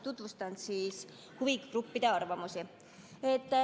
Tutvustan lähemalt huvigruppide arvamusi.